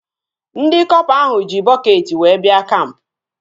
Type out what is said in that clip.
Ndị kọpa ahụ ji bọketị wee bịa kampụ